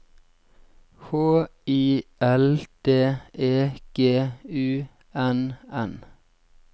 H I L D E G U N N